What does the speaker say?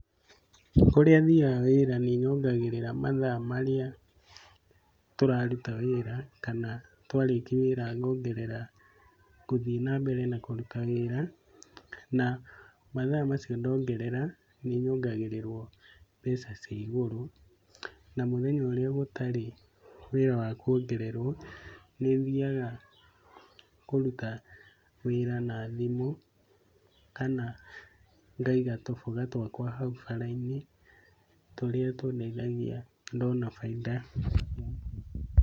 Kũrĩa thiaga wĩra nĩ nyongagĩrĩra mathaa marĩa tũraruta wĩra kana twarĩkia wĩra ngathiĩ nambere na kũruta wĩra . Namathaa macio ndongerera nĩnyongagĩrĩrwo mbeca cia igũrũ. Namũthenya ũrĩa gũtarĩ wĩra wa kwongererwo. Nĩ thiaga kũruta wĩra na thimũ kana ngaiga tũboga twakwa hau bara-inĩ tũrĩa tũndeithagia ndona bainda.